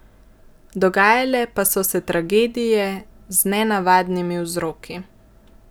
Dogajale pa so se tragedije z nenavadnimi vzroki.